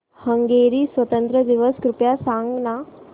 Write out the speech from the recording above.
Hungary स्वातंत्र्य दिवस कृपया सांग ना